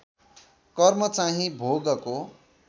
कर्म चाहिँ भोगको